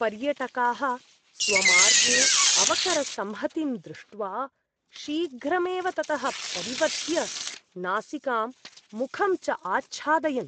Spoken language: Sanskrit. पर्यटकाः स्वमार्गे अवकरसंहतिं दृष्ट्वा शीघ्रमेव ततः परिवर्त्य नासिकां मुखं च आच्छादयन्।